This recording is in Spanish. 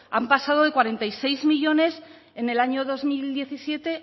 han pasado de cuarenta y seis millónes en el año dos mil diecisiete